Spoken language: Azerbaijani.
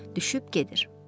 Düşüb gedir.